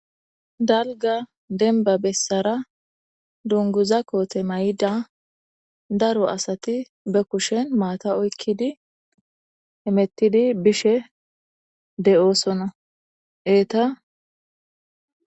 dalga denba bessara dunguza koote may7ida daro asati be kushen maata oykkidi emettidi bishe de7oosonna eeta